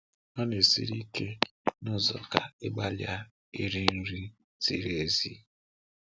Ọ na-esiri ike n’ụzọ ka ị gbalịa iri nri ziri ezi.